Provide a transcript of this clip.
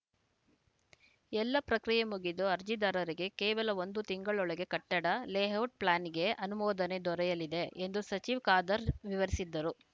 ಎಲ್ಲ ಪ್ರಕ್ರಿಯೆ ಮುಗಿದು ಅರ್ಜಿದಾರರಿಗೆ ಕೇವಲ ಒಂದು ತಿಂಗಳೊಳಗೆ ಕಟ್ಟಡ ಲೇಔಟ್‌ ಪ್ಲ್ಯಾನ್‌ಗೆ ಅನುಮೋದನೆ ದೊರೆಯಲಿದೆ ಎಂದು ಸಚಿವ ಖಾದರ್‌ ವಿವರಿಸಿದರು